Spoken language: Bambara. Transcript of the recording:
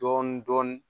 Dɔɔnin dɔɔnin